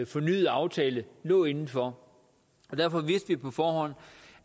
fornyet aftale lå inden for derfor vidste vi på forhånd